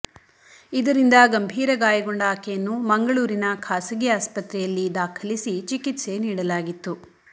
ಇದರಿಂದ ಗಂಭೀರ ಗಾಯಗೊಂಡ ಆಕೆಯನ್ನು ಮಂಗಳೂರಿನ ಖಾಸಗಿ ಆಸ್ಪತ್ರೆಯಲ್ಲಿ ದಾಖಲಿಸಿ ಚಿಕಿತ್ಸೆ ನೀಡಲಾಗಿತ್ತು